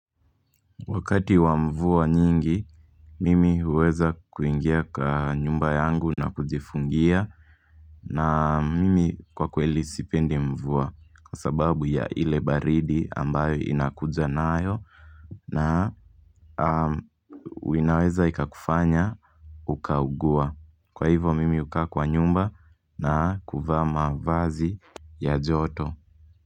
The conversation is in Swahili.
Wakati wa mvua nyingi, mimi huweza kuingia kwa nyumba yangu na kujifungia na mimi kwa kweli sipende mvua Kwa sababu ya ile baridi ambayo inakujanayo na inaweza ikakufanya ukaugua Kwa hivo mimi huka kwa nyumba na kuvaa mavazi ya joto.